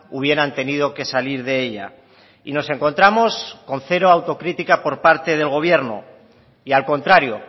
hubieran tenido que salir de ella y nos encontramos con cero autocritica por parte del gobierno y al contrario